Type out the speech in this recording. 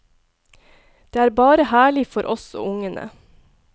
Det er bare herlig for oss og ungene.